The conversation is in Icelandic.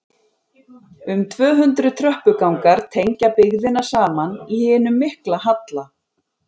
Um tvö hundruð tröppugangar tengja byggðina saman í hinum mikla halla.